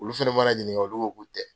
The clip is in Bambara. Olu fɛnɛ mana ɲininka olu ko k'u tɛ.